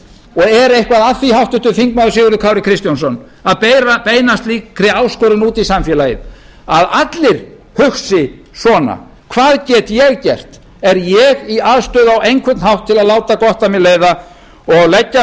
og er eitthvað að því háttvirtur þingmaður sigurður kári kristjánsson að beina slíkri áskorun út í samfélagið að allir hugsi svona hvað get ég gert er ég í aðstöðu á einhvern hátt til að láta gott af mér leiða og leggja